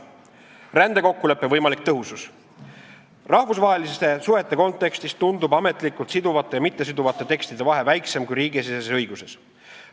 "Rändekokkuleppe võimalik tõhusus": Rahvusvaheliste suhete kontekstis tundub ametlikult siduvate ja mittesiduvate tekstide vahe väiksem kui riigisiseses õiguses.